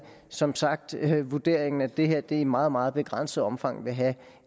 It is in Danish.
som sagt vurderingen at det her i meget meget begrænset omfang vil have